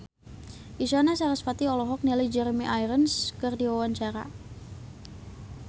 Isyana Sarasvati olohok ningali Jeremy Irons keur diwawancara